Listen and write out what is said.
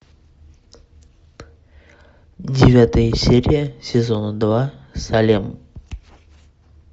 девятая серия сезона два салем